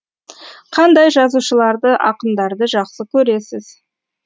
қандай жазушыларды ақындарды жақсы көресіз